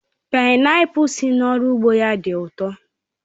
Paịnapul si n'oru ugbo ya di u to